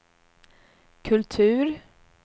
kultur